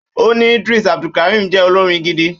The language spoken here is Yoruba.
Ó ní Idris Abdulkareem jẹ́ olórin gidi